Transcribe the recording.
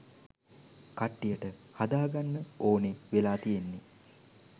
කට්ටියට හදාගන්න ඕනේ වෙලා තියෙන්නේ.